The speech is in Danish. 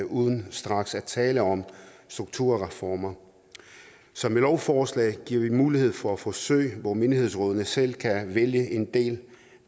uden straks at tale om strukturreformer så med lovforslaget giver vi mulighed for forsøg hvor menighedsrådene selv kan vælge en del